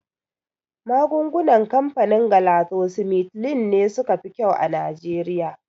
Magungunan kamfanin Galaxosmithline ne suka fi kyau a Nijeriya